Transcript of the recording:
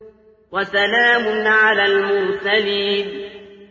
وَسَلَامٌ عَلَى الْمُرْسَلِينَ